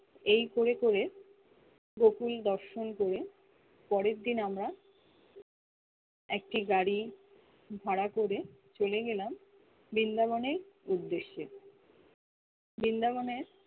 এই করে করে গুকুল দর্শন করে পরের দিন আমরা একটি গাড়ি ভাড়া করে চলে গেলাম বিন্দা বনে উদ্যেশে বিন্দাবনে